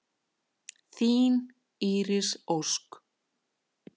Þín Íris Ósk.